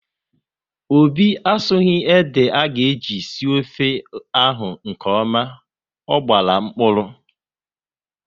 Obi asughi ede aga eji sie ofe ahụ nkeọma, ọ gbara mkpụrụ